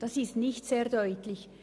Das ist nicht sehr deutlich.